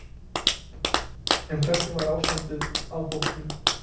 En hvernig var ástandið á hópnum?